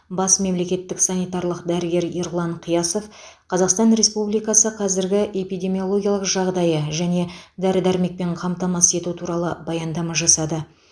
бас мемлекеттік санитарлық дәрігер ерлан қиясов қазақстан республикасы қазіргі эпидемиологиялық жағдайы және дәрі дәрмекпен қамтамасыз ету туралы баяндама жасады